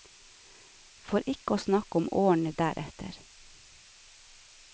For ikke å snakke om årene deretter.